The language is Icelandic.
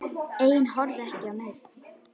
Ein horfði ekki á neinn.